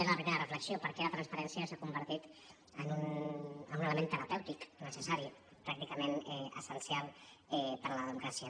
des de la primera reflexió perquè la transparència s’ha convertit en un element terapèutic necessari pràcticament essencial per a la democràcia